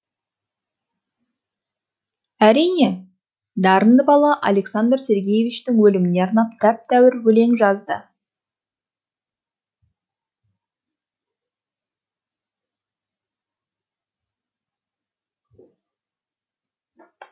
әрине дарынды бала александр сергеевичтің өліміне арнап тәп тәуір өлең жазды